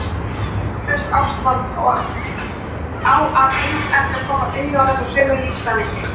Sonur Sigurbjörns Ástvalds á að eins eftir að koma auga á þessi sömu lífssannindi.